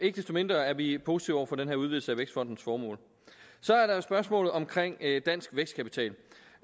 mindre er vi positive over for den her udvidelse af vækstfondens formål så er der jo spørgsmålet om dansk vækstkapital